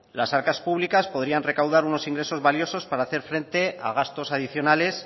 las arcas públicas podrían recaudar unos ingresos valiosos para hacer frente a gastos adicionales